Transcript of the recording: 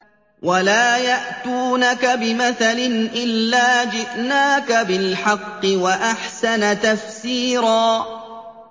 وَلَا يَأْتُونَكَ بِمَثَلٍ إِلَّا جِئْنَاكَ بِالْحَقِّ وَأَحْسَنَ تَفْسِيرًا